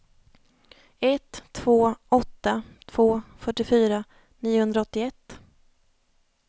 ett två åtta två fyrtiofyra niohundraåttioett